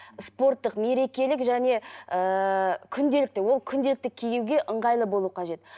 спорттық мерекелік және ыыы күнделікті ол күнделікті киюге ыңғайлы болу қажет